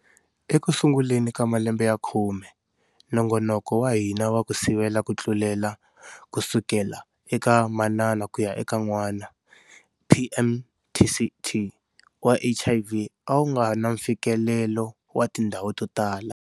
Ekusunguleni ka malembe ya khume, nongonoko wa hina wa ku sivela ku tlulela kusukela eka manana kuya eka n'wana, PMTCT, wa HIV a wu va nga na mfikelelo wa tindhawu to tala.